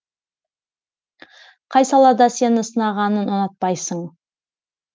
қай салада сені сынағанын ұнатпайсың